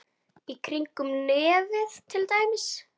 Í kringum nefið til dæmis.